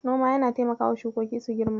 Noma yana taimakawa shukoki su girma.